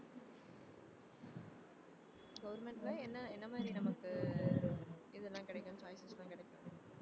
government ல என்ன என்ன மாதிரி நமக்கு ஆஹ் இதெல்லாம் கிடைக்கும் கிடைக்கும்